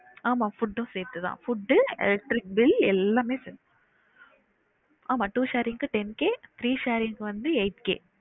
ஆமா food உம் சேர்த்து தான் food, electricity bill எல்லாமே சேர்த்~ ஆமா two sharing க்கு ten K, three sharing க்கு வந்து eight K